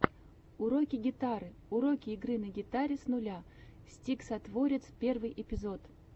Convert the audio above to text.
уроки гитары уроки игры на гитаре с нуля стиксатворец первый эпизод